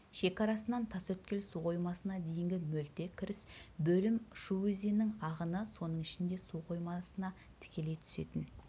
шекарасынан тасөткел суқоймасына дейінгі мөлтек кіріс бөлім шу өзенінің ағыны соның ішінде суқоймасына тікелей түсетін